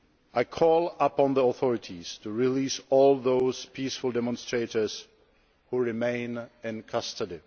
I call upon the authorities to release all those peaceful demonstrators who remain in custody.